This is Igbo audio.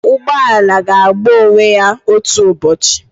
Ụgbọ ala ga-agba onwe ya otu ụbọchị